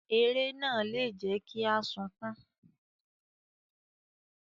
Eré náà lè jẹ kí a sunkún.